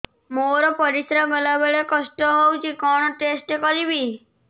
ମୋର ପରିସ୍ରା ଗଲାବେଳେ କଷ୍ଟ ହଉଚି କଣ ଟେଷ୍ଟ କରିବି